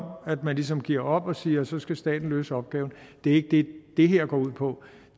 at man ligesom giver op og siger at så skal staten løse opgaven det er ikke det som det her går ud på